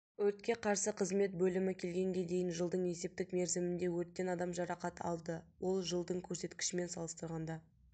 өртке қарсы қызмет бөлімі келгенге дейін жылдың есептік мерзімінде өрттен адам жарақат алды ол жылдың көрсеткішімен салыстырғанда